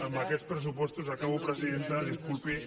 amb aquests pressupostos acabo presidenta disculpi